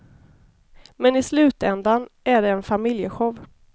Men i slutändan är det en familjeshow.